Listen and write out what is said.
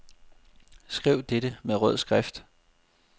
Skriv dette med rød skrift.